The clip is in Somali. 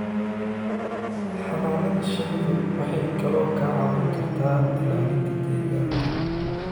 Xannaanada shinnidu waxay kaloo kaa caawin kartaa ilaalinta deegaanka